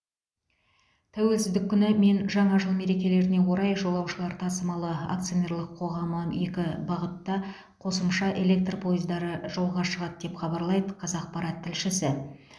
тәуелсіздік күні мен жаңа жыл мерекелеріне орай жолаушылар тасымалы акционерлік қоғамы екі бағытта қосымша электр пойыздары жолға шығады деп хабарлайды қазақпарат тілшісі